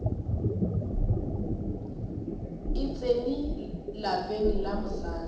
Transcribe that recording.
e tsene lapeng la mosadi